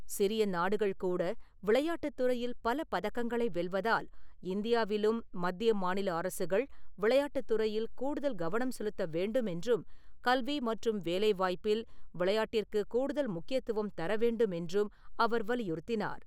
சிறிய நாடுகள்கூட விளையாட்டுத் துறையில் பல பதக்கங்களை வெல்வதால், இந்தியாவிலும் மத்திய மாநில அரசுகள் விளையாட்டுத் துறையில் கூடுதல் கவனம் செலுத்த வேண்டும் என்றும் கல்வி மற்றும் வேலைவாய்ப்பில் விளையாட்டிற்குக் கூடுதல் முக்கியத்துவம் தரவேண்டும் என்றும் அவர் வலியுறுத்தினார்.